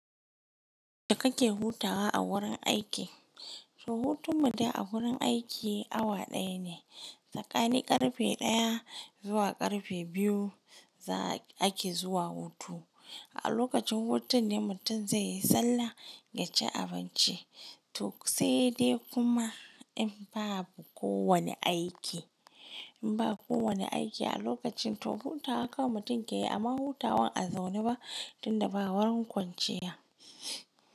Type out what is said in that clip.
Da kake hutawa a wurin aiki. To hutun mutum a wurin aiki awa ɗaya ne, tsakani ƙarfe ɗaya zuwa ƙarfe biyu za ake zuwa hutu. A lokacin hutun ne mutum zai yi sallah ya ci abinci. To sai dai kuma in babu ko wane aiki, in ba ko wane aiki a lokacin to hutawa kawai mutum ke yi amma hutawan a zaune ba tunda ba wani kwanciya.